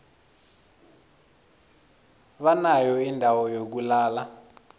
banayo indawo yokulala